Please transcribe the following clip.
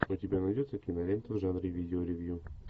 у тебя найдется кинолента в жанре видеоревью